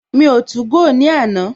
Mi o 2go ní àná